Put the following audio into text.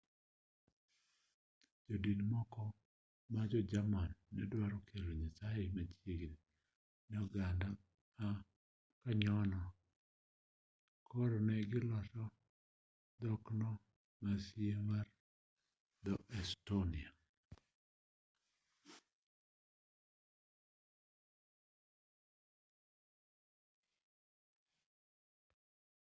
jodin moko ma jo-jerman ne dwaro kelo nyasaye machiegi ne oganda ma kanyono koro ne goloso dhokno ma sie mar dho-estonia